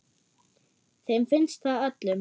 Þeim finnst það öllum.